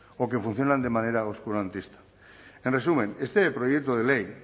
o que funcionan de manera oscurantista en resumen este proyecto de ley